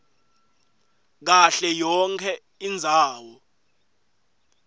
kahle yonkhe indzawo